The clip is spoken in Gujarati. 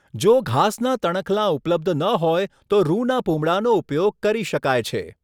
જો ઘાસનાં તણખલાં ઉપલબ્ધ ન હોય તો રૂનાં પૂમડાંનો ઉપયોગ કરી શકાય છે.